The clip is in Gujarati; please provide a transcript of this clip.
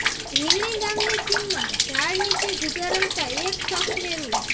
રીંગણી ગામની સીમમાં ઝાડ નીચે જુગાર રમતા એક શખ્સને રૂ